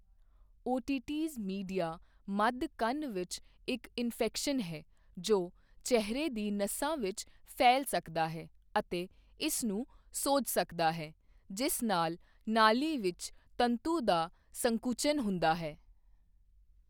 Otitis media ਮੱਧ ਕੰਨ ਵਿੱਚ ਇੱਕ ਇਨਫੈਕਸ਼ਨ ਹੈ, ਜੋ ਚਿਹਰੇ ਦੀ ਨਸਾਂ ਵਿੱਚ ਫੈਲ ਸਕਦਾ ਹੈ ਅਤੇ ਇਸ ਨੂੰ ਸੋਜ ਸਕਦਾ ਹੈ, ਜਿਸ ਨਾਲ ਨਾਲੀ ਵਿੱਚ ਤੰਤੂ ਦਾ ਸੰਕੁਚਨ ਹੁੰਦਾ ਹੈ।